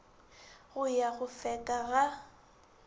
go ya go feka ga